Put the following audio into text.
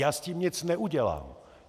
Já s tím nic neudělám.